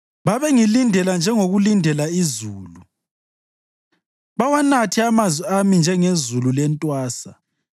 Babengilindela njengokulindela izulu, bawanathe amazwi ami njengezulu lentwasa.